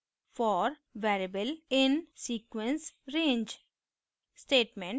for variable in sequence/range